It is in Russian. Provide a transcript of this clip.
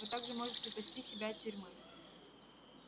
вы также можете спасти себя от тюрьмы